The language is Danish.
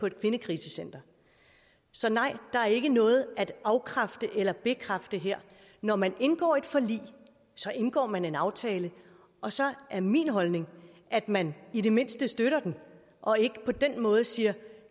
et kvindekrisecenter så nej der er ikke noget at afkræfte eller bekræfte her når man indgår et forlig indgår man en aftale og så er min holdning at man i det mindste støtter den og ikke på den måde siger